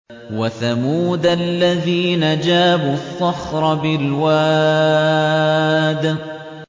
وَثَمُودَ الَّذِينَ جَابُوا الصَّخْرَ بِالْوَادِ